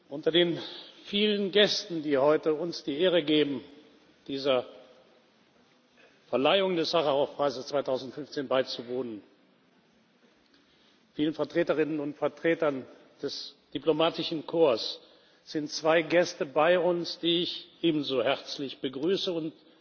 Unter den vielen Gästen, die uns heute die Ehre geben, dieser Verleihung des Sacharow Preises 2015 beizuwohnen, vielen Vertreterinnen und Vertretern des Diplomatischen Korps, sind zwei Gäste bei uns, die ich ebenso herzlich begrüße.